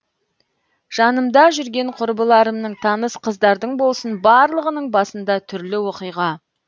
жанымда жүрген құрбыларымның таныс қыздардың болсын барлығының басында түрлі оқиға